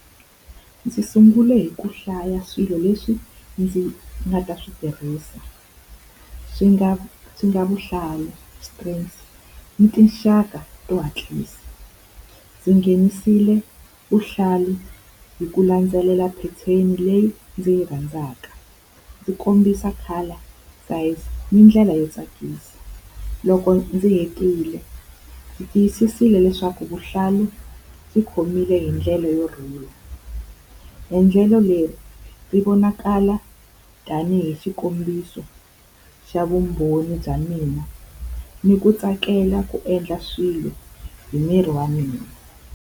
Ndzi sungule hi ku hlaya swilo leswi ndzi nga ta swi tirhisa, swi nga swi nga vuhlalu, ni tinxaka to hatlisa. Ndzi nghenisile vuhlalu hi ku landzelela pheteni leyi ndzi yi rhandzaka, ndzi kombisa color ni ndlela yo tsakisa. Loko ndzi hetile ndzi tiyisisile leswaku vuhlalu byi khomile hi ndlela yo rhula. Endlelo leri ti vonakala tanihi xikombiso xa vumbhoni bya mina, ni ku tsakela ku endla swilo hi miri wa mina.